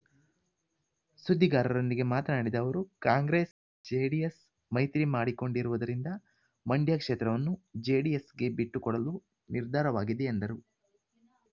ಸುದ್ದಿಗಾರರೊಂದಿಗೆ ಮಾತನಾಡಿದ ಅವರು ಕಾಂಗ್ರೆಸ್ ಜೆಡಿಎಸ್ ಮೈತ್ರಿ ಮಾಡಿಕೊಂಡಿರುವುದರಿಂದ ಮಂಡ್ಯ ಕ್ಷೇತ್ರವನ್ನು ಜೆಡಿಎಸ್‌ಗೆ ಬಿಟ್ಟುಕೊಡಲು ನಿರ್ಧಾರವಾಗಿದೆ ಎಂದರು